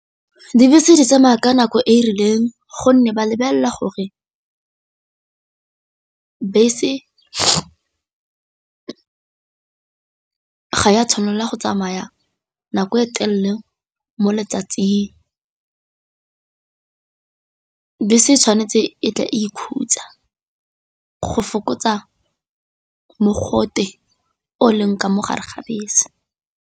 Dibese di tsamaya ka nako e e rileng gonne ba lebelela gore bese ga e a tshwanela go tsamaya nako e telele le mo letsatsing, bese se tshwanetse e tle e ikhutsa go fokotsa mogote o o leng ka mo gare ga bese.